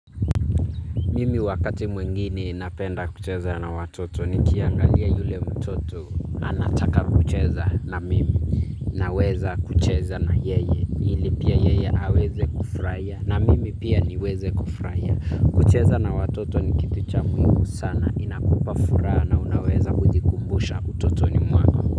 Mimi wakati mwingine napenda kucheza na watoto nikiangalia yule mtoto anataka kucheza na mimi naweza kucheza na yeye ili pia yeye aweze kufurahiya na mimi pia niweze kufurahia. Kucheza na watoto ni kitu cha muhimu sana inakupa furaha na unaweza kujikumbusha utotoni mwako.